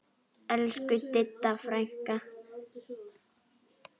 Elsku Didda frænka.